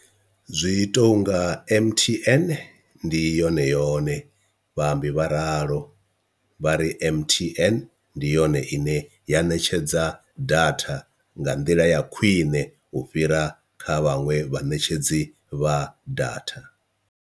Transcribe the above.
Zwi tounga M_T_N ndi yone yone vhaambi vha ralo, vha ri M_T_N ndi yone ine ya ṋetshedza datha nga nḓila ya khwiṋe u fhira kha vhaṅwe vhaṋetshedzi vha datha.